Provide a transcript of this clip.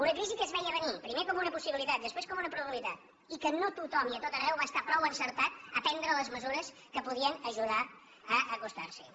una crisi que es veia a venir primer com una possibilitat després com una probabilitat i que no tothom i a tot arreu va estar prou encertat a prendre les mesures que podien ajudar a acostar s’hi